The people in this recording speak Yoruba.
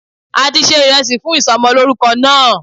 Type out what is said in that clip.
A ti se ìresì fún ìsomolórúko náà